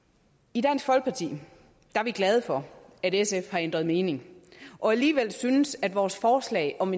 i dansk folkeparti er vi glade for at sf har ændret mening og alligevel synes at vores forslag om